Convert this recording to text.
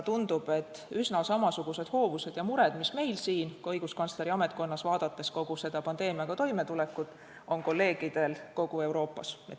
Tundub, et üsna samasugused hoovused ja mured, mis on meil ka õiguskantsleri ametkonnas, vaadates kogu seda pandeemiaga toimetulekut, on kolleegidel kogu Euroopas.